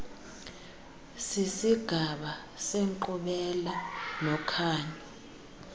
sisigaba senkqubela nokhanyo